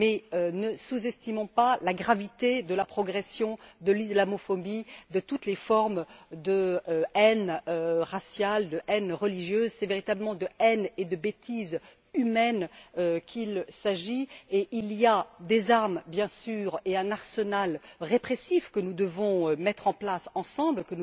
Mais ne sous estimons pas la gravité de la progression de l'islamophobie, de toutes les formes de haine raciale et de haine religieuse. Il s'agit véritablement de haine et de bêtise humaine, et il y a des armes, bien sûr, et un arsenal répressif que nous devons mettre en place ensemble